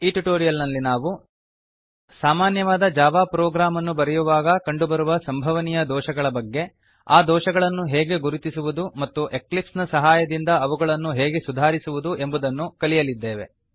ಈ ಟ್ಯುಟೋರಿಯಲ್ ನಲ್ಲಿ ನಾವು ಸಾಮಾನ್ಯವಾದ ಜಾವಾ ಪ್ರೊಗ್ರಾಮ್ ಅನ್ನು ಬರೆಯುವಾಗ ಕಂಡುಬರುವ ಸಂಭವನೀಯ ದೋಷಗಳ ಬಗ್ಗೆ ಆ ದೋಷಗಳನ್ನು ಹೇಗೆ ಗುರುತಿಸುವುದು ಮತ್ತು ಎಕ್ಲಿಪ್ಸ್ ನ ಸಹಾಯದಿಂದ ಅವುಗಳನ್ನು ಹೇಗೆ ಸುಧಾರಿಸುವುದು ಎಂಬುದನ್ನು ಕಲಿಯಲಿದ್ದೇವೆ